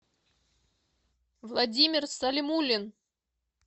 владимир салимулин